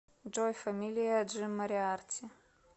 джой фамилия джим мориарти